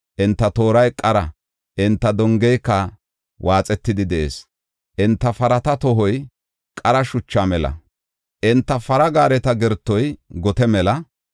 Enta tooray qara; enta dongeyka waaxetidi de7ees. Enta parata tohoy qara shucha mela; enta para gaareta gertoy gote mela.